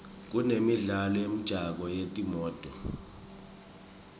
kunemidlalo wemjako wetimoto